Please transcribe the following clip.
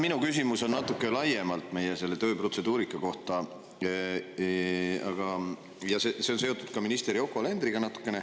Minu küsimus on natuke laiemalt meie töö protseduurika kohta ja see on natukene seotud ka minister Yoko Alenderiga.